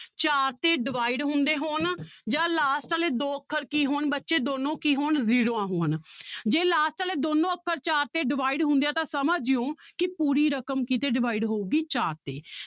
ਚਾਰ ਤੇ divide ਹੁੰਦੇ ਹੋਣ ਜਾਂ last ਵਾਲੇ ਦੋ ਅੱਖਰ ਕੀ ਹੋਣ ਬੱਚੇ ਦੋਨੋਂ ਕੀ ਹੋਣ ਜ਼ੀਰੋਆਂ ਹੋਣ ਜੇ last ਵਾਲੇ ਦੋਨੋਂ ਅੱਖਰ ਚਾਰ ਤੇ divide ਹੁੰਦੇ ਆ ਤਾਂ ਸਮਝ ਜਾਇਓ ਕਿ ਪੂਰੀ ਰਕਮ ਕਿਹਦੇ ਤੇ divide ਹੋਊਗੀ ਚਾਰ ਤੇ